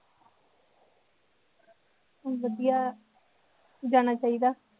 ਵਧੀਆ ਜਾਣਾ ਚਾਹੀਦਾ